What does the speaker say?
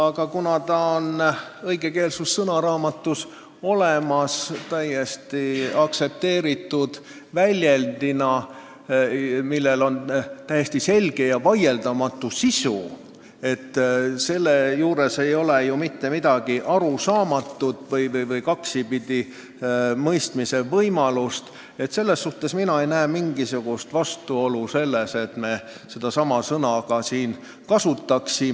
Aga kuna see on õigekeelsussõnaraamatus olemas täiesti aktsepteeritud terminina, millel on selge ja vaieldamatu sisu – selles ei ole ju mitte midagi arusaamatut või kaksipidi mõeldavat –, siis mina ei näe mingisugust põhjust, miks me seda sõna siin kasutada ei või.